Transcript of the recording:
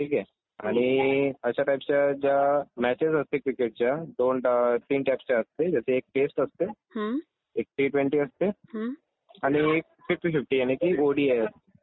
ठीक आहे. आणि अशा टाइपच्या ज्या मॅचेस असते क्रिकेटच्या दोन तीन टाइपच्या असते ज्याचं एक टेस्ट असते एक टी ट्वेंटी असते आणि एक फिफ्टी फिफ्टी आणि ती ओडीआय असते.